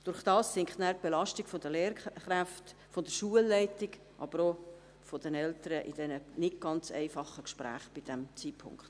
Dadurch sinkt die Belastung der Lehrkräfte, der Schulleitung, aber auch der Eltern, in diesen nicht ganz einfachen Gesprächen zu diesem Zeitpunkt.